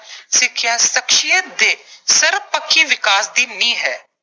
ਸਿੱਖਿਆ ਸ਼ਖਸੀਅਤ ਦੇ ਸਰਬਪੱਖੀ ਵਿਕਾਸ ਦੀ ਨੀਂਹ ਹੈ।